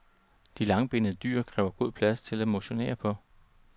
De langbenede dyr kræver god plads til at motionere på.